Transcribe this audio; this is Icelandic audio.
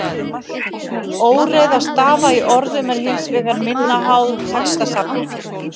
Óreiða stafa í orðum er hins vegar minna háð textasafninu.